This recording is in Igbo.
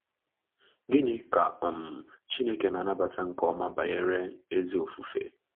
Gịnị ka um Chineke na-anabata nke ọma banyere ezi ofufe?